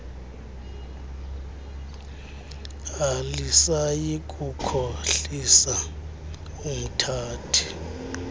alisayi kukhohlisa umthathi